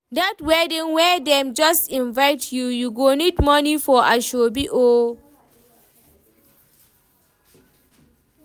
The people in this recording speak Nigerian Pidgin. Dat wedding wey dem just invite you, you go need moni for asoebi o.